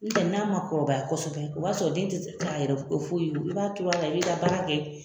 N'o tɛ n'a ma kɔrɔbaya kosɛbɛ o b'a sɔrɔ den tɛ k'a yɛrɛ foyi ye i b'a turu a la i b'i ka baara kɛ